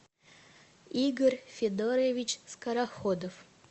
игорь федорович скороходов